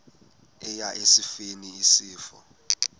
eya esifeni isifo